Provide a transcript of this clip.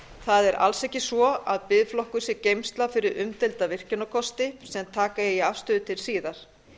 það er alls ekki svo að biðflokkur sé geymsla fyrir umdeilda virkjunarkosti sem taka eigi afstöðu til síðar